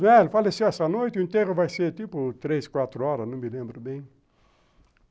É, ele faleceu essa noite, o enterro vai ser tipo três, quatro horas, não me lembro bem.